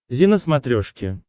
зи на смотрешке